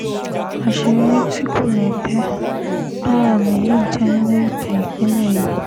àṣeyọrí tí kò lẹ́gbẹ́ gbáà lèyí jẹ́ nínú ìtàn ìpínlẹ̀ yìí